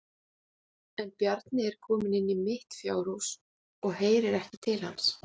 En Bjarni er kominn inn í mitt fjárhúsið og heyrir ekki til hans.